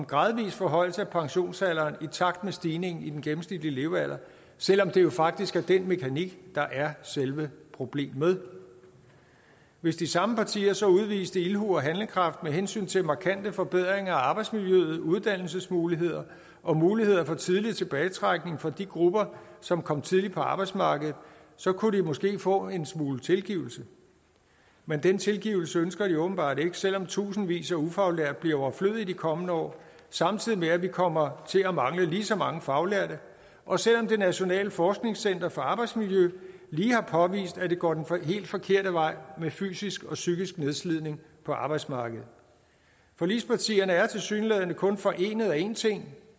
gradvis forhøjelse af pensionsalderen i takt med stigningen i den gennemsnitlige levealder selv om det jo faktisk er den mekanik der er selve problemet hvis de samme partier så udviste ildhu og handlekraft med hensyn til markante forbedringer af arbejdsmiljøet uddannelsesmuligheder og muligheder for tidlig tilbagetrækning for de grupper som kom tidligt på arbejdsmarkedet så kunne de måske få en smule tilgivelse men den tilgivelse ønsker de åbenbart ikke selv om tusindvis af ufaglærte bliver overflødige i de kommende år samtidig med at vi kommer til at mangle lige så mange faglærte og selv om det nationale forskningscenter for arbejdsmiljø lige har påvist at det går den helt forkerte vej med fysisk og psykisk nedslidning på arbejdsmarkedet forligspartierne er tilsyneladende kun forenede af én ting